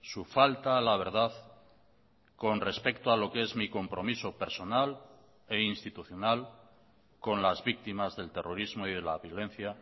su falta a la verdad con respecto a lo que es mi compromiso personal e institucional con las víctimas del terrorismo y de la violencia